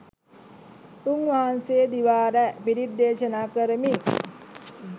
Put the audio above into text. උන් වහන්සේ දිවා රැ පිරිත් දේශනා කරමින්